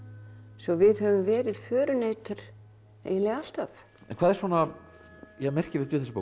svo við höfum verið förunautar eiginlega alltaf en hvað er svona merkilegt við þessa bók